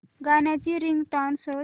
गाण्याची रिंगटोन शोध